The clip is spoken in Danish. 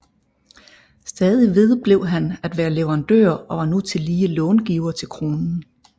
Stadig vedblev han at være leverandør og var nu tillige långiver til Kronen